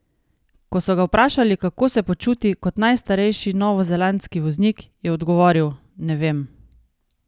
Ko so ga vprašali, kako se počuti kot najstarejši novozelandski voznik, je odgovoril: ''Ne vem.